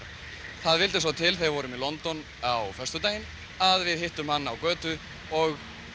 það vildi svo til þegar við vorum í London á föstudaginn að við hittum hann á götu og